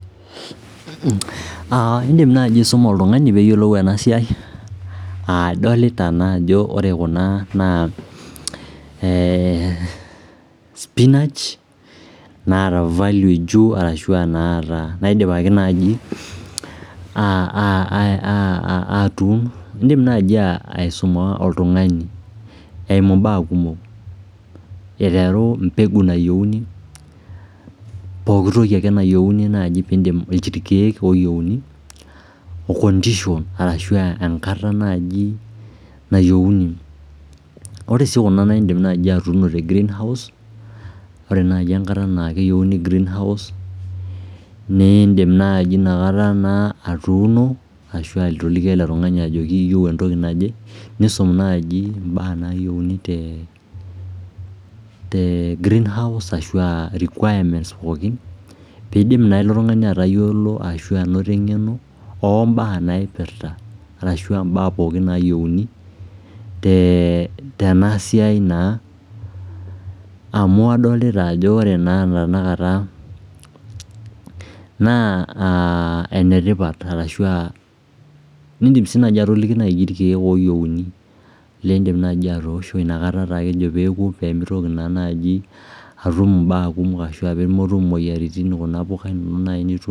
In'dim nai aisuma oltungani peeyiplou enasiai Adolita naa ajo ore kuna naa spinach naidipaki aatun niidim nai aisuma oltungani eimu im'baa kumok eiteru mbeku nayieni pookitoki ake nayieni naai, ilkiek looyieni oo enkata naji nayieuni Ore sii kuna naa iindim nai atuuno te greenhouse ore nai enkata nayieni greenhoue niidim nai atuuno ashu atoliki ele tungani ajo iyieu entoki naje niisum nai im'baa nayieuni te greenhouse piidim naa ilo tungani atayiolo ashu anoto eng'eno too mbaa naipirta ashu mbaa pooki naayieuni tena siai naa amu kadolita ajo ore ena tenakata naa enetipat Niidim sii atoliki naaji ilkiek ooyienu liidim atoosho peemetum im'baa kumok ashu pee metum imuoyiaritin